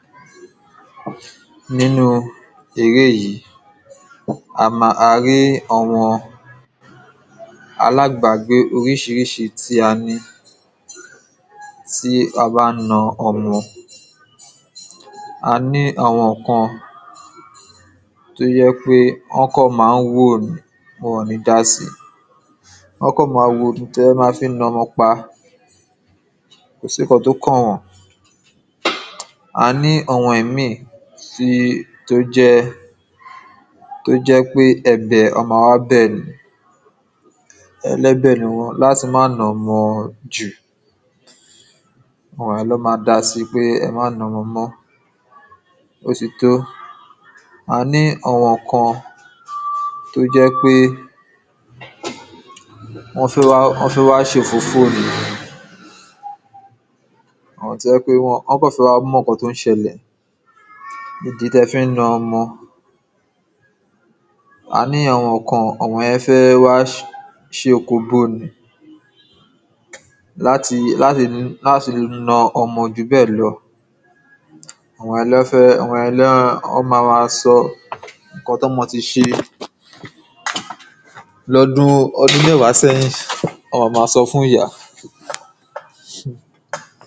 ?] Nínu eré yìí a rí àwọn alábàágbé oríṣiríṣi tí a ní tí a bá ń na ọmọ; a ní àwọn kan tó jẹ́ pé wọ́n kàn máa wò ni, wọn ò nì dá síi wọ́n a kàn maa wò tí ẹ máa fi na ọmọ pa, kò sí ǹkan tí ó kàn wọ́n; a ní àwọn Ìmíì tó jẹ́ pé ẹ̀bẹ̀, wọ́n a wá bẹ̀ ni, ẹlẹ́bẹ̀ ni wọ́n, láti má na ọmọ àwọn jù wọ́n á lọ́ dá síi pé ẹ ma na ọmọ mọ́, ó ti tó; a ní àwọn kan tó jẹ́ pé wọ́n fẹ́ wá ṣe òfófó ni, àwọn tó jẹ́ pé wọ́n kàn fẹ́ wá mọ ǹkan tí ó ń ṣẹlẹ̀, ìdí tí ẹ fi ń na ọmọ; a ní àwọn kan, àwọn yẹn fẹ́ wá ṣe òkóbó ni, láti láti láti na ọmọ jù bẹ́ẹ̀ lọ, àwọn yẹn ni wọ́n máa máa sọ ǹkan tí ọmọ ti ṣe lọ́dún mẹ́wàá sẹ́yìn, wọn a máa sọ́ fún ìyá.